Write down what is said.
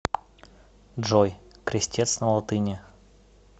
джой крестец на латыни